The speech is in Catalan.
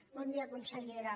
bon dia consellera